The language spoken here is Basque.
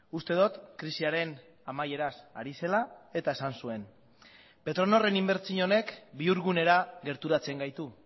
uste dut krisiaren amaieraz ari zela eta esan zuen petronorren inbertsio honek bihurgunera gerturatzen gaitu